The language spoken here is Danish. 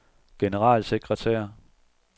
generalsekretær